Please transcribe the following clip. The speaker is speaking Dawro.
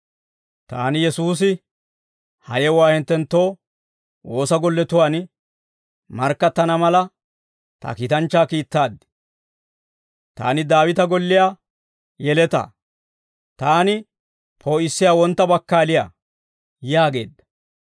«Taani Yesuusi, ha yewuwaa hinttenttoo woosa golletuwaan markkattana mala, ta kiitanchchaa kiittaad. Taani Daawita Golliyaa Yeletaa. Taani poo'issiyaa Wontta Bakkaaliyaa» yaageedda.